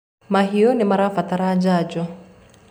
mahiũ nĩmairabatara njanjo